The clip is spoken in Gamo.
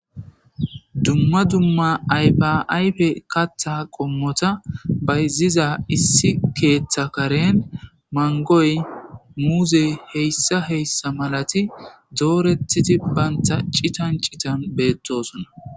Duma duma ayfa ayfe katha qomota bayziza issi ketha Karen mangoy muzey heysa heysa malati doretidi banta c'itan c'itan betosona.